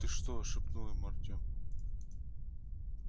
ты что шепнул ему артем